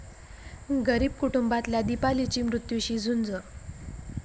गरीब कुटुंबातल्या दीपालीची मृत्यूशी झुंज